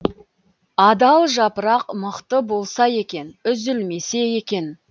адал жапырақ мықты болса екен үзілмесе екен